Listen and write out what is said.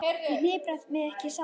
Ég hnipra mig ekki saman.